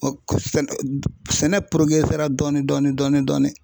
Sɛnɛ dɔɔnin dɔɔnin.